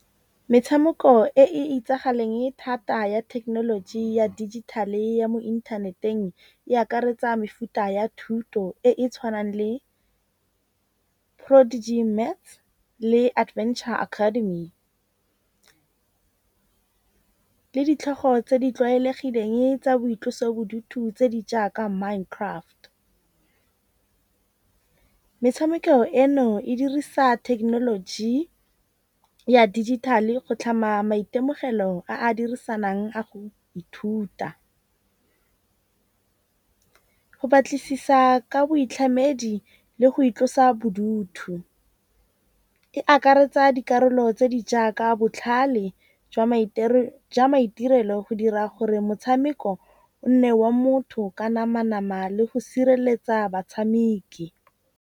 Metshameko e e itsagaleng thata ya thekenoloji ya digital-e ya mo inthaneteng e akaretsa mefuta ya thuto e e tshwanang le le adventure academy le ditlhogo tse di tlwaelegileng tsa boitlosobodutu tse di jaaka mind craft. Metshameko eno e dirisa technology ya dijithale go tlhama maitemogelo a a dirisanang a go ithuta. Go batlisisa ka boitlhamedi le go itlosa bodutu. E akaretsa dikarolo tse di jaaka botlhale jwa maitirelo go dira gore motshameko o nne wa motho ka nama nama le go sireletsa batshameki.